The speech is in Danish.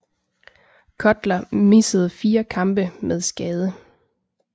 Cutler missede 4 kampe med skade